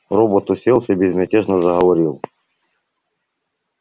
робот уселся и безмятежно заговорил